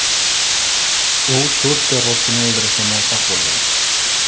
U to‘rt terrorchini o‘ldirishga muvaffaq bo‘lgan.